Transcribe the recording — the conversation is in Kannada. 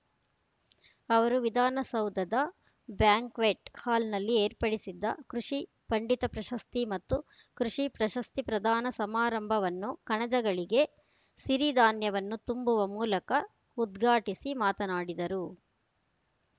ಅವರು ವಿಧಾನಸೌದದ ಬ್ಯಾಂಕ್ವೆಟ್ ಹಾಲ್‍ನಲ್ಲಿ ಏರ್ಪಡಿಸಿದ್ದ ಕೃಷಿ ಪಂಡಿತ ಪ್ರಶಸ್ತಿ ಮತ್ತು ಕೃಷಿ ಪ್ರಶಸ್ತಿ ಪ್ರದಾನ ಸಮಾರಂಭವನ್ನು ಕಣಜಗಳಿಗೆ ಸಿರಿಧಾನ್ಯವನ್ನು ತುಂಬುವ ಮೂಲಕ ಉದ್ಘಾಟಿಸಿ ಮಾತನಾಡಿದರು